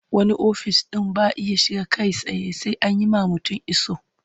Wani ofis ɗin ba a iya shiga kai tsaye sai an yi wa mutum iso.